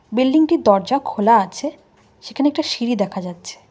Building টির দরজা খোলা আছে সেখানে একটা সিঁড়ি দেখা যাচ্ছে।